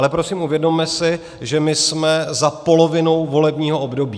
Ale prosím, uvědomme si, že my jsme za polovinou volebního období.